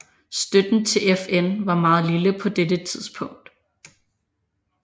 Støtten til FN var meget lille på dette tidspunkt